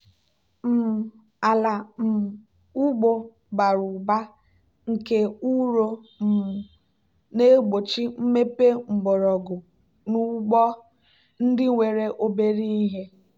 um ala um ugbo bara ụba nke ụrọ um na-egbochi mmepe mgbọrọgwụ n'ugbo ndị nwere obere ihe.